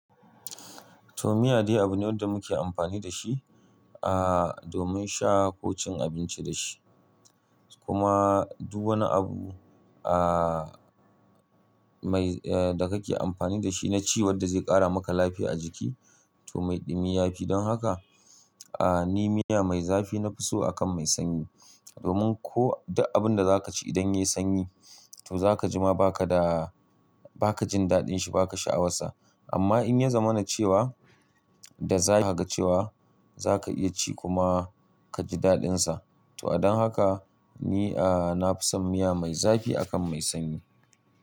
To miya dai abu ne wanda muke amfani da shi, ah, domin sha ko cin abinci da shi. Kuma duk wani abu, ah, mai, eh, da kake amfani da shi na ci wadda zai ƙara maka lafiya a jiki to maiɗi miya yafi. Don haka, ah, ni miya mai zafi nafi so akan mai sanyi. Domin ko duk abunda zaka ci idan yayi sanyi to zaka ji ma baka da, ba ka jin daɗin shi, ba ka sha'awar sa. Amma in ya zama na cewa da za haka cewa zaka iya ci kuma ka ji daɗin sa. To a dan haka ni, ah, nafi son miya mai zafi akan mai sanyi.